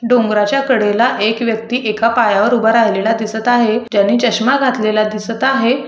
डोंगराच्या कडेला एक व्यक्ती एका पायावर उभा राहिलेला दिसत आहे. ज्यानी चष्मा घातलेला दिसत आहे.